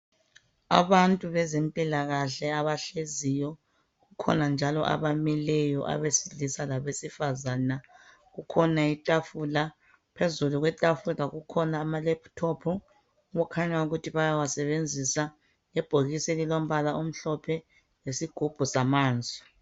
Abantu bezempilakahle abahleziyo kukhona njalo abamileyo abesilisa labesifazana. Kuletafula phezu kwalo kulamalephuthophu okukhanya ukuthi bayawasebenzisa. Ebhokisini elilombala omhlophe yizigubhu zamanzi.